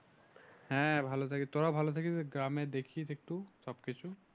হ্যাঁ ভালো থাকিস তোরা ও ভালো থাকিস গ্রামে দেখিস একটু সবকিছু